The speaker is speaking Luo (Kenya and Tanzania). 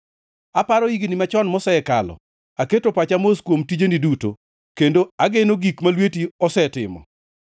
Aparo higni machon mosekalo; aketo pacha mos kuom tijeni duto, kendo ageno gik ma lweti osetimo.